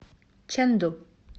чэнду